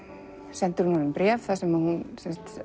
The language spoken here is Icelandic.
sendir hún honum bréf þar sem hún